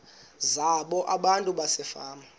zabo abantu basefama